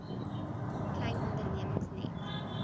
klein ondernemings net